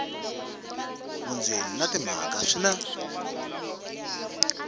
vundzeni na timhaka swi na